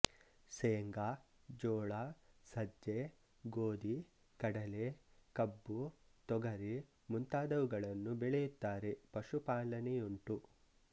ಸೇಂಗಾ ಜೋಳ ಸಜ್ಜೆ ಗೋದಿ ಕಡಲೆ ಕಬ್ಬು ತೊಗರಿ ಮುಂತಾದವುಗಳನ್ನು ಬೆಳೆಯುತ್ತಾರೆ ಪಶುಪಾಲನೆಯುಂಟು